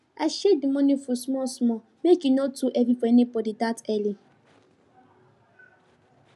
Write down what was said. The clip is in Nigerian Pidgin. i share the morning food small small make e no too heavy for anybody that early